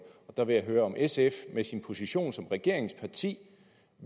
der vil jeg høre om sf med sin position som regeringsparti